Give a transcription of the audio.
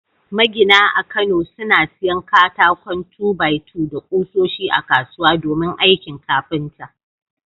Magina a kano suna siyan katakon 2-by-2 da kusoshi a kasuwa domin aikin kafinta.